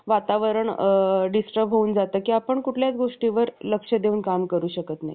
कारण ते देखील भगवंताचा भक्त असतो. आणि आपले संपूर्ण अस्तित्व भगवंताला आठवण करून उच्च जातीतील ब्राह्मणापेक्षा मोठा होतो.